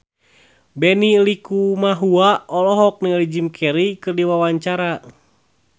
Benny Likumahua olohok ningali Jim Carey keur diwawancara